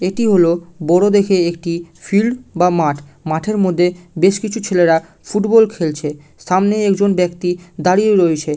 এটি হলো বড় দেখে একটি ফিল্ড বা মাঠ মাঠের মধ্যে বেশ কিছু ছেলেরা ফুটবল খেলছে সামনে একজন ব্যাক্তি দাঁড়িয়ে রয়েছে।